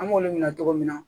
An b'olu minɛ cogo min na